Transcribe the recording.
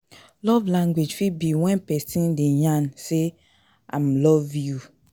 Love language fit be when persin de yarn say im love you